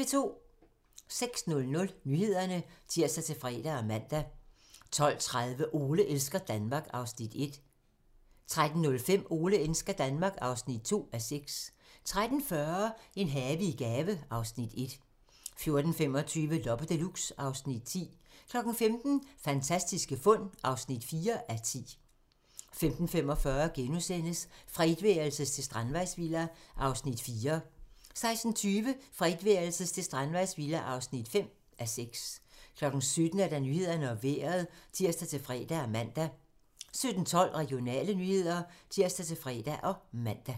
06:00: Nyhederne (tir-fre og man) 12:30: Ole elsker Danmark (1:6) 13:05: Ole elsker Danmark (2:6) 13:40: En have i gave (Afs. 1) 14:25: Loppe Deluxe (Afs. 10) 15:00: Fantastiske fund (4:10) 15:45: Fra etværelses til strandvejsvilla (4:6)* 16:20: Fra etværelses til strandvejsvilla (5:6) 17:00: Nyhederne og Vejret (tir-fre og man) 17:12: Regionale nyheder (tir-fre og man)